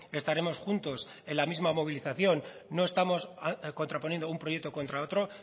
estaremos juntos en la misma movilización no estamos contraponiendo un proyecto contra otro